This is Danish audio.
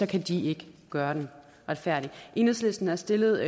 kan de ikke gøre den retfærdig enhedslisten har stillet